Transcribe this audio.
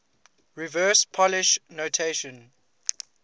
reverse polish notation